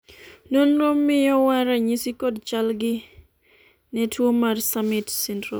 nonro miyowa ranyisi kod chalgi ne tuo mar summit syndrome